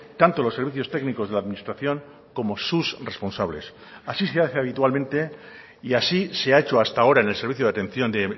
tanto los servicios técnicos de la administración como sus responsables así se hace habitualmente y así se ha hecho hasta ahora en el servicio de atención de